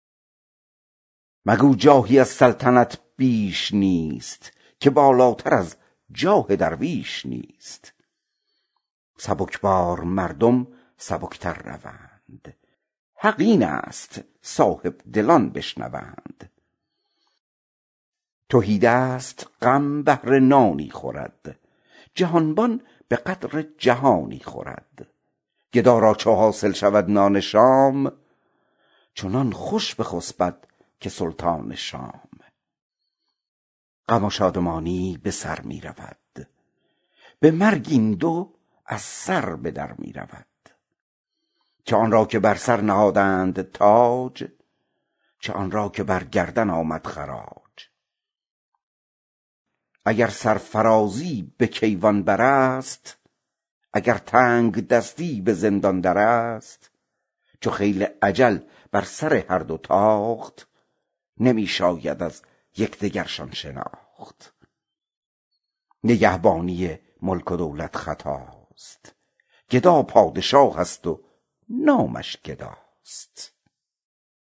مگو جاهی از سلطنت بیش نیست که ایمن تر از ملک درویش نیست سبکبار مردم سبک تر روند حق این است و صاحبدلان بشنوند تهیدست تشویش نانی خورد جهانبان به قدر جهانی خورد گدا را چو حاصل شود نان شام چنان خوش بخسبد که سلطان شام غم و شادمانی به سر می رود به مرگ این دو از سر به در می رود چه آن را که بر سر نهادند تاج چه آن را که بر گردن آمد خراج اگر سرفرازی به کیوان بر است وگر تنگدستی به زندان در است چو خیل اجل بر سر هر دو تاخت نمی شاید از یکدگرشان شناخت